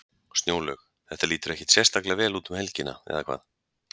Snjólaug, þetta lítur ekkert sérstaklega vel út um helgina, eða hvað?